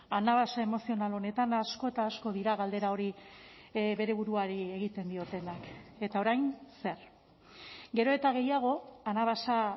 anabasa emozional honetan asko eta asko dira galdera hori bere buruari egiten diotenak eta orain zer gero eta gehiago anabasa